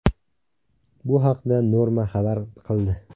Bu haqda Norma xabar qildi .